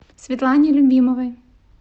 светлане любимовой